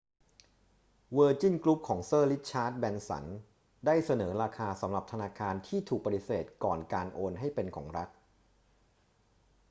เวอร์จินกรุ๊ปของเซอร์ริชาร์ด แบรนสันได้เสนอราคาสำหรับธนาคารที่ถูกปฏิเสธก่อนการโอนให้เป็นของรัฐ